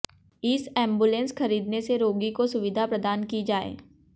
इस एंबुलेंस खरीदने से रोगी को सुविधा प्रदान की जाए